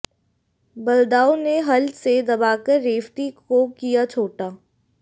बलदाऊ ने हल से दबाकर रेवती को किया छोटा